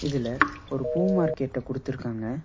இதுல ஒரு பூ மார்க்கெட்ட குடுத்துருக்காங்க.